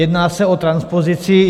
Jedná se o transpozici.